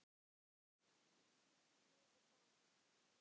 Lifi blakið!